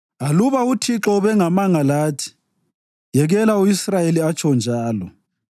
Aluba uThixo ubengemanga lathi yekela u-Israyeli atsho njalo,